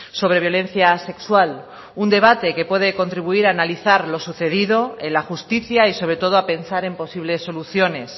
sobre violencia sexual un debate que puede contribuir a analizar lo sucedido en la justicia y sobre todo a pensar en posibles soluciones